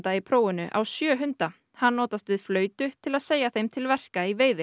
í prófinu á sjö hunda hann notast við flautu til að segja þeim til verka í veiði